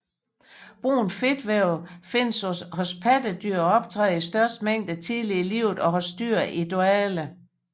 Brunt fedtvæv findes hos pattedyr og optræder i størst mængde tidligt i livet og hos dyr i dvale